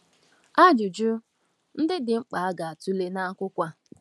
Ajụjụ ndị dị mkpa a ga-atụle n’akwụkwọ a.